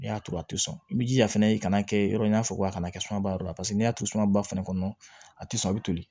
N'i y'a turu a tɛ sɔn i jija a fɛnɛ i kana kɛ yɔrɔ n'a fɔ a kana kɛ sumaba yɔrɔ la paseke n'i y'a to sumaba fɛnɛ kɔnɔ a ti sɔn a bɛ toli